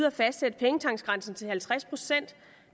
at fastsætte pengetanksgrænsen til halvtreds procent